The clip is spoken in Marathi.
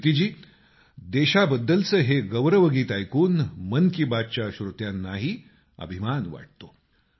कीर्तिजी देशाबद्दलचं हे गौरवगीत ऐकून मन की बातच्या श्रोत्यांनाही अभिमान वाटतो